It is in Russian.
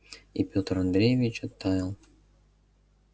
и пётр андреевич оттаял